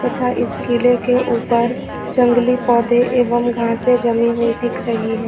तथा इस किले के ऊपर जंगली पौधे एवं घासे जमी हुई दिख रही है।